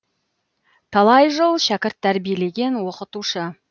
талай жыл шәкірт тәрбиелеген оқытушы